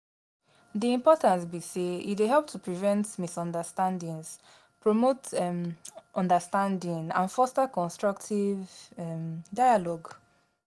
di importance be say e dey help to prevent misunderstandings, promote um understanding and foster constructive um dialogue.